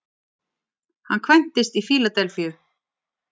Hann kvæntist í Fíladelfíu